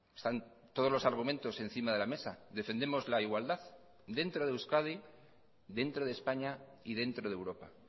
están todos los argumentos encima de la mesa defendemos la igualdad dentro de euskadi dentro de españa y dentro de europa